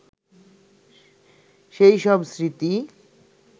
সেই সব স্মৃতি